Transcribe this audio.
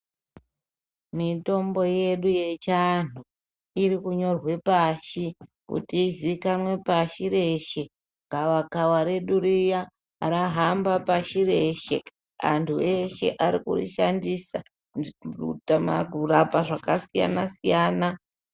Mitombo yedu yechiantu iri kunyorwe pashi kuti izikanwe pashi reshe gavakava redu riya rajanba pashireshe antu ese ari kuri shandisa kurapa zvakasiyana siyana.